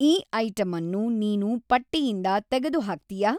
ಈ ಐಟಂ ಅನ್ನು ನೀನು ಪಟ್ಟಿಯಿಂದ ತೆಗೆದುಹಾಕ್ತೀಯಾ